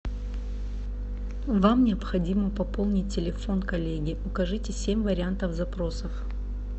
вам необходимо пополнить телефон коллеги укажите семь вариантов запросов